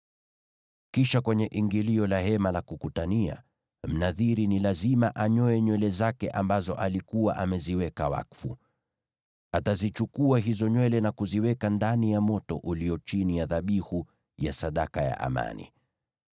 “ ‘Kisha kwenye ingilio la Hema la Kukutania, Mnadhiri ni lazima anyoe nywele zake ambazo alikuwa ameziweka wakfu. Atazichukua hizo nywele na kuziweka ndani ya moto ulio chini ya dhabihu ya sadaka ya amani.